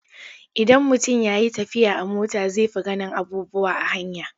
Idan mutum ya yi tafiya a mota zai fi ganin abubuwa a hanya.